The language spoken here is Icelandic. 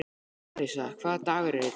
Arisa, hvaða dagur er í dag?